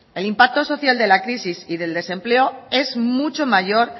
el impacto social de la crisis y el desempleo es mucho mayor